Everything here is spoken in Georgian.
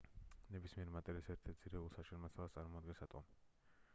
ნებისმიერი მატერიის ერთ-ერთ ძირეულ საშენ მასალას წარმოადგენს ატომი